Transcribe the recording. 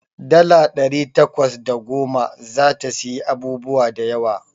Dala ɗari takwas da goma zata siyi abubuwa da yawa.